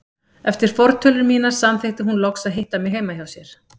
Eftir fortölur mínar samþykkti hún loks að hitta mig heima hjá sér.